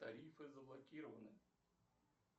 тарифы заблокированы